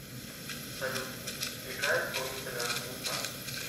салют играй исполнителя мустард